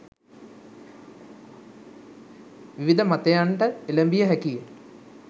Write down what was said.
විවිධ මතයන්ට එළැඹිය හැකිය